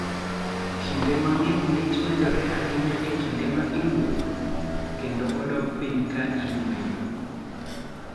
Kinde mang�eny lit medore ahinya e kinde ma iwuotho ??kendo odok piny ka iyueyo.